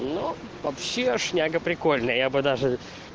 но вообще шняга прикольная я бы даже